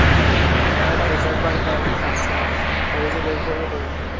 আমার এখনো বার করায়নি first sem এর কবে যে বের করবে কে জানে